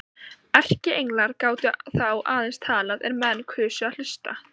Erkienglar gátu þá aðeins talað er menn kusu að hlusta.